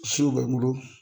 Siw bɛ n bolo